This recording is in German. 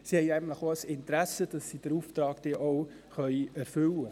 Sie haben auch ein Interesse daran, den Auftrag erfüllen zu können.